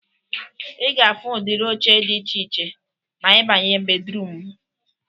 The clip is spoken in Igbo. Ị ga-afu udiri oche dị iche iche ma ịbanye bedruum mụ